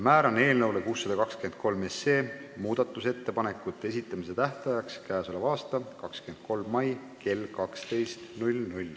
Määran eelnõu 623 muudatusettepanekute esitamise tähtajaks käesoleva aasta 23. mai kell 12.00.